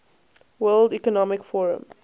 world economic forum